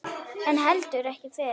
En heldur ekki fyrr.